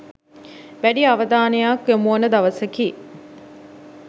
වැඩි අවධානයක් යොමුවන දවසකි.